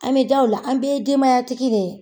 An be da u la, an bɛɛ ye denbaya tigi de ye.